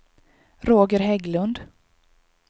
Roger Hägglund